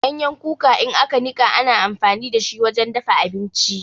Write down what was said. Ganyen kuka in aka nika ana amfani da shi wajen dafa abinci.